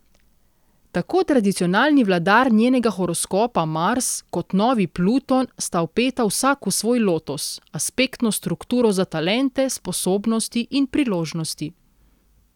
Tako tradicionalni vladar njenega horoskopa, Mars, kot novi, Pluton, sta vpeta vsak v svoj lotos, aspektno strukturo za talente, sposobnosti in priložnosti.